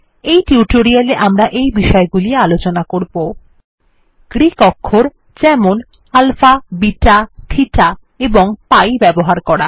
এই টিউটোরিয়ালে আমরা এই বিষয়গুলি আলোচনা করবো গ্রিক অক্ষর যেমন আলফা বিটা থিটা এবং পাই ব্যবহার করা